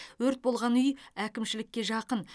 өрт болған үй әкімшілікке жақын